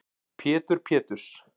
Pétur Péturs